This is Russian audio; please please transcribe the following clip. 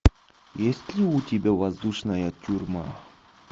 есть ли у тебя воздушная тюрьма